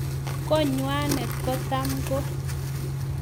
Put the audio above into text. Konywanet kotam ko